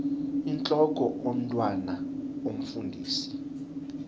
intlok omntwan omfundisi